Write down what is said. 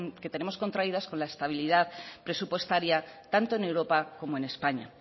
que tenemos contraídas con la estabilidad presupuestaria tanto en europa como en españa